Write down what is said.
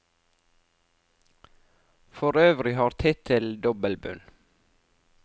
For øvrig har tittelen dobbeltbunn.